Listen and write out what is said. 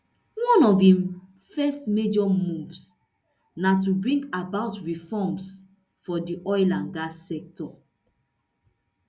one of im first major moves na to bring about reforms for di oil and gas sector